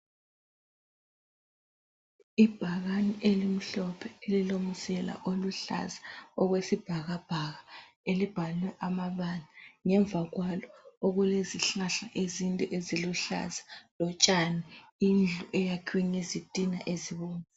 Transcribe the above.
Ibhakani elimhlophe elilomzila oluhlaza okwesibhakabhaka, elibhalwe amabala. Ngemva kwalo okulezihlahla ezinde eziluhlaza lotshani. Indlu eyakhiwe ngezitina ezibomvu.